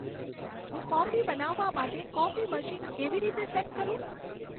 હું કોફી બનાવવા માટે કોફી મશીન કેવી રીતે સેટ કરું